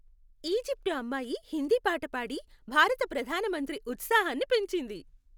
Egypt అమ్మాయి హిందీ పాట పాడి భారత ప్రధాన మంత్రి ఉత్సాహాన్ని పెంచింది.